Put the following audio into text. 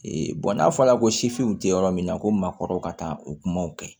bɔn n'a fɔra ko sifinw tɛ yɔrɔ min na ko maakɔrɔ ka taa o kumaw kɛ